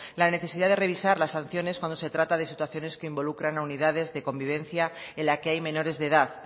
la necesidad de revisar las sanciones cuando se trata de situaciones que involucran a unidades de convivencia en la que hay menores de edad